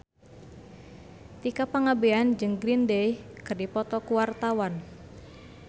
Tika Pangabean jeung Green Day keur dipoto ku wartawan